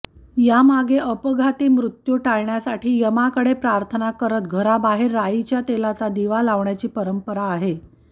यामागे अपघाती मृत्यू टाळण्यासाठी यमाकडे प्रार्थना करत घराबाहेर राईच्या तेलाचा दिवा लावण्याची परंपरा आहे